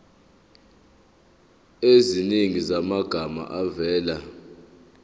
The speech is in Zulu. eziningi zamagama avela